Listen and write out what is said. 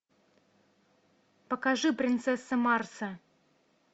покажи принцесса марса